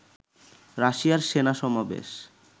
রাশিয়ার সেনা সমাবেশ